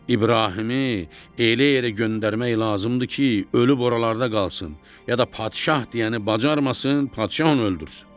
İbrahimi elə yerə göndərmək lazımdır ki, ölüb oralarda qalsın ya da padişah deyəni bacarmasın, padişah onu öldürsün.